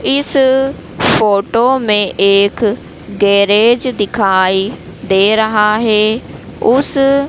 इस फोटो में एक गैरेज दिखाई दे रहा हैं उस--